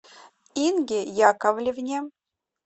инге яковлевне